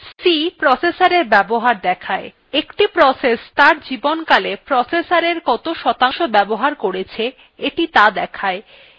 c processorএর ব্যবহার দেখায় একটি process ত়ার জীবনকালে processorএর কত শতাংশ বাবহার করেছে এটি ত়া দেখায়